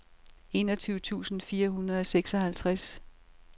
enogtyve tusind fire hundrede og seksoghalvtreds